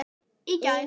Í gær?